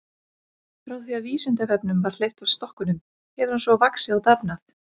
Frá því að Vísindavefnum var hleypt af stokkunum hefur hann svo vaxið og dafnað.